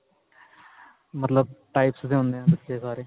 ਮਤਲਬ types ਦੇ ਹੁੰਦੇ ਏ ਬੱਚੇ ਸਾਰੇ